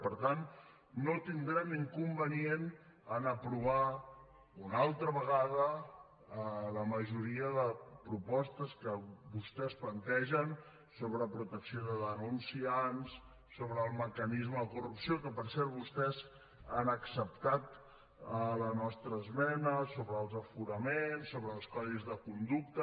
i per tant no tindrem inconvenient en aprovar una altra vegada la majoria de propostes que vostès plantegen sobre protecció de denunciants sobre el mecanisme de corrupció que per cert vostès han acceptat la nostra esmena sobre els aforaments sobre els codis de conducta